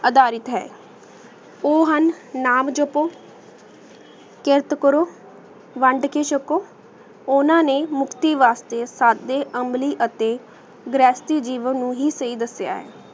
ਅਦਾਰਿਤ ਹੈ ਊ ਹੁਣ ਨਾਮ ਜੋਪੋ ਕ ਵੰਡ ਕੇ ਚਕੋ ਓਨਾ ਨੇ ਮੁਕਤੀ ਵਾਸਤੇ ਸਬ ਦੇ ਅਮਲੀ ਅਤੀ geography ਜੀਵਨ ਨੂ ਹੀ ਸੀ ਦਸ੍ਯ ਹੈ